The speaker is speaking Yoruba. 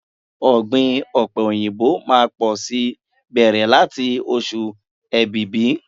Ọ̀gbìn ọ̀pẹ̀ òyìnbó máá pọ̀ si bẹ̀rẹ̀ láti ọ̀ṣù Èbìbí.